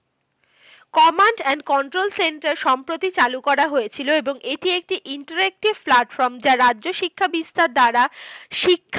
Command and control centre সম্প্রতি চালু করা হয়েছিল এবং এটি একটি interrective platform যা রাজ্য শিক্ষা বিস্তার দ্বারা শিক্ষার